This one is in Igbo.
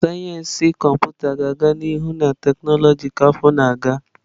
Sayensị Kọmputa ga-aga n'ihu na tekinọloji ka afọ na-aga.